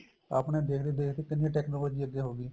ਆਪਣੇ ਦੇਖਦੇ ਦੇਖਦੇ ਕਿੰਨੀ technology ਅੱਗੇ ਹੋਗੀ